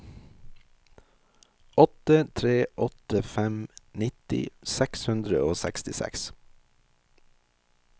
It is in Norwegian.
åtte tre åtte fem nitti seks hundre og sekstiseks